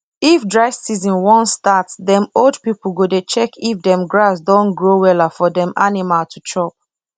if dry season wan startdem old pipu go dey check if dem grass don grow wella for dem animal to chop